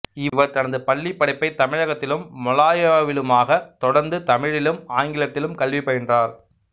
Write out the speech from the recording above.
இவர் தனது பள்ளிப்படிப்பைத் தமிழகத்திலும் மலாயாவிலுமாகத் தொடர்ந்து தமிழிலும் ஆங்கிலத்திலும் கல்வி பயின்றார்